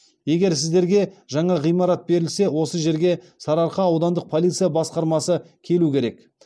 егер сіздерге жаңа ғимарат берілсе осы жерге сарыарқа аудандық полиция басқармасы келу керек